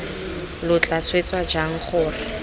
lo tla swetsa jang gore